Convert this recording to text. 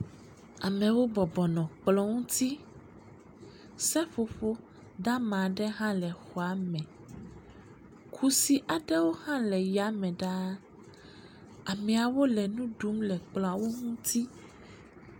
Amewo bɔbɔ nɔ kplɔ ŋuti, seƒoƒo dama aɖe hã le xɔa me. Kudi aɖewo hã le ya me ɖaa. Ameawo le nu ɖum le kplɔawo ŋuti.